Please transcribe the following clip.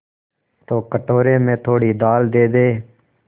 तो कटोरे में थोड़ी दाल दे दे